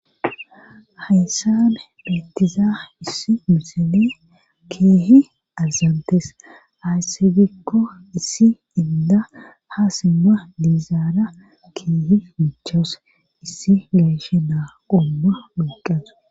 hayssabe beettiza issi musene keehi azantees haasibikko issi inda ha simma diizaara keehi michas issi gayshe naa qomma muqasa